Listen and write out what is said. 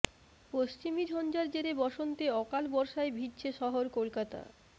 পশ্চিমী ঝঞ্ঝার জেরে বসন্তে অকাল বর্ষায় ভিজছে শহর কলকাতা